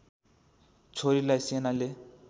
छोरीलाई सेनाले